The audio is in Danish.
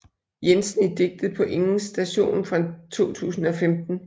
Jensen i digtet På ingens station fra 2015